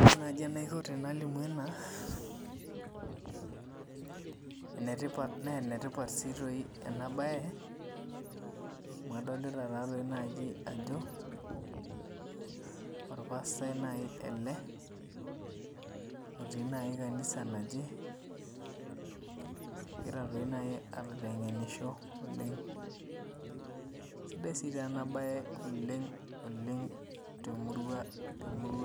Ore naji enaiko palimu ena na enetipat si emabae na adolta ajo orpaastai nai ele otii kanisa naje egira toi nai aitengenisho oleng sidai nai enabae oleng temuria